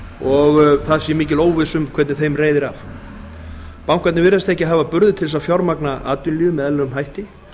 og það sé mikil óvissa um hvernig þeim reiðir af bankarnir virðast ekki hafa burði til að fjármagna atvinnulífið með eðlilegum hætti